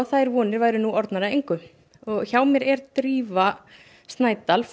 þær vonir séu nú orðnar að engu hjá mér er Drífa Snædal